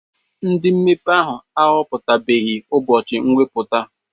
Ndị mmepe ahụ ahọpụtabeghị ụbọchị mwepụta.